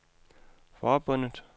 forbundet